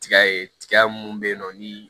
Tiga ye tiga mun bɛ yen nɔ ni